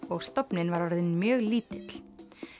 og stofninn var orðinn mjög lítill